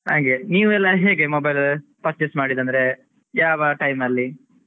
ಹಾಗೆ ನೀವೆಲ್ಲ ಹೇಗೆ? mobile purchase ಮಾಡಿದ್ದಂದ್ರೆ ಯಾವ time ಅಲ್ಲಿ?